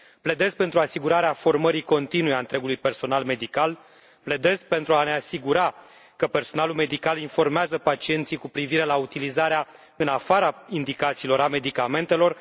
Pledez pentru asigurarea formării continue a întregului personal medical, pledez pentru a ne asigura că personalul medical informează pacienții cu privire la utilizarea, în afara indicațiilor, a medicamentelor.